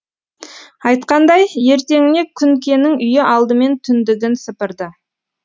айтқандай ертеңіне күнкенің үйі алдымен түндігін сыпырды